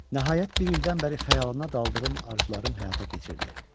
Nəhayət, bir ildən bəri xəyalına daldığım arzularım həyata keçirdi.